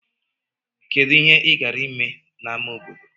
Kedu ihe ị gara ime n'ámá obodo?